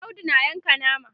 Audu na Yanka nama